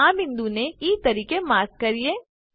ચાલો આ બિંદુને ઇ તરીકે માર્ક કરીએ